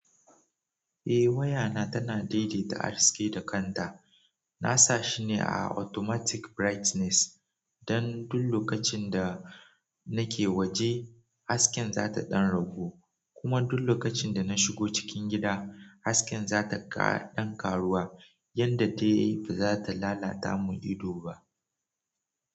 Eh waya na tana daidaita haske da kanta. Na sa shi ne a automatic brightness. Don duk lokacin da nake waje hasken za ta ɗan ragu kuma duk lokacin da na shigo cikin gida hasken za ta ɗan karuwa. Yanda ta yi ba za ta lalata mun ido ba.